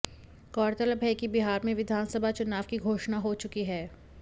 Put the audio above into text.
गौरतलब है कि बिहार में विधानसभा चुनाव की घोषणा हो चुकी है